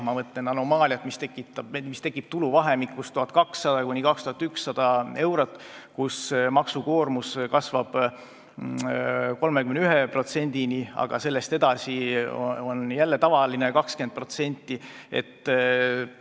Ma mõtlen anomaaliaid, mis tekivad tuluvahemikus 1200–2100 eurot, kus maksukoormus kasvab 31%-ni, aga sellest edasi on jälle see tavaline 20%.